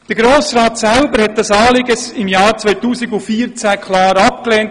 Der Grosse Rat selber hat dieses Anliegen im Jahr 2014 klar abgelehnt.